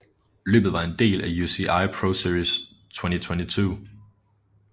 Løbet var en del af UCI ProSeries 2022